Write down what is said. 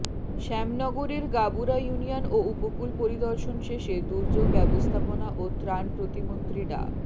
শ্যামনগরের Gabura union ও উপকূল পরিদর্শন শেষে দুর্যোগ ব্যবস্থাপনা ও ত্রাণ প্রতিমন্ত্রী ডা